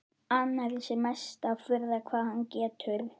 Annars er mesta furða hvað hann getur.